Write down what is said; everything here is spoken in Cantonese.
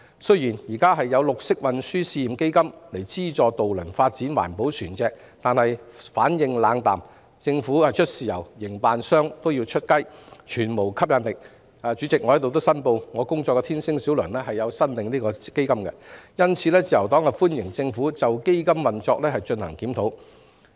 雖然現時有綠色運輸試驗基金資助渡輪發展環保船隻，但業界反應冷淡，因為政府只是出"豉油"，卻要營辦商出"雞"，故全無吸引力可言——主席，我在此申報，我工作的天星小輪有限公司亦有申請該項基金——因此，自由黨歡迎政府就基金運作進行檢討。